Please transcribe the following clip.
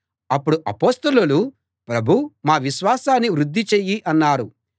అప్పుడు అపొస్తలులు ప్రభూ మా విశ్వాసాన్ని వృద్ధి చెయ్యి అన్నారు